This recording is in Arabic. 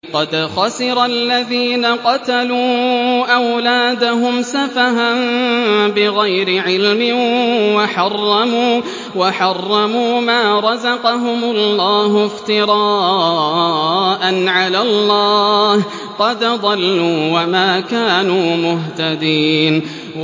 قَدْ خَسِرَ الَّذِينَ قَتَلُوا أَوْلَادَهُمْ سَفَهًا بِغَيْرِ عِلْمٍ وَحَرَّمُوا مَا رَزَقَهُمُ اللَّهُ افْتِرَاءً عَلَى اللَّهِ ۚ قَدْ ضَلُّوا وَمَا كَانُوا مُهْتَدِينَ